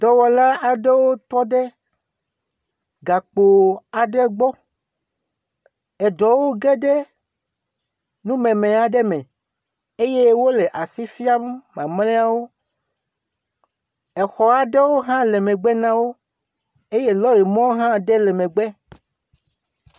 Dɔwɔla aɖewo tɔ ɖe gakpo aɖe gbɔ. Eɖewo ge ɖe numeme aɖe me eye wole asi fiam mamlɛawo. Exɔ aɖewo hã le megbe na wo eye lɔri mɔ aɖe hã le megbe.